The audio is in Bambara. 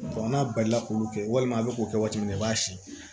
n'a balila k'olu kɛ walima a bɛ k'o kɛ waati min na i b'a siyɛn